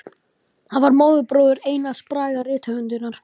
Hann var móðurbróðir Einars Braga rithöfundar.